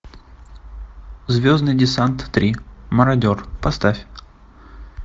звездный десант три марадер поставь